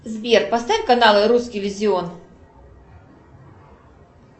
сбер поставь канал русский иллюзион